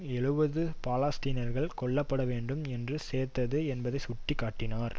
எழுபது பாலஸ்தீனியர்கள் கொல்லப்பட வேண்டும் என்று சேர்த்தது என்பதை சுட்டி காட்டினார்